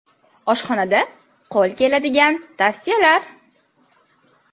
Oshxonada qo‘l keladigan tavsiyalar.